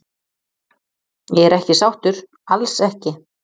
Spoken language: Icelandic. Ég er ekki sáttur, alls ekki.